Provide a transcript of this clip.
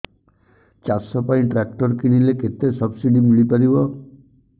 ଚାଷ ପାଇଁ ଟ୍ରାକ୍ଟର କିଣିଲେ କେତେ ସବ୍ସିଡି ମିଳିପାରିବ